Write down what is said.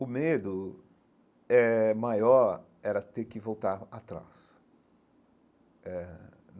O medo eh maior era ter que voltar atrás eh.